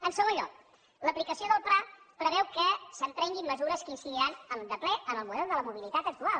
en segon lloc l’aplicació del pla preveu que s’emprenguin mesures que incidiran de ple en el model de la mobilitat actual